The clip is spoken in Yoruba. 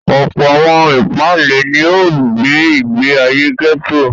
Ọ̀pọ̀ àwọn ìpáǹle ni ó gbé ìgbé ayé gẹ́tò.